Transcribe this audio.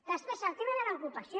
després el tema de l’ocupació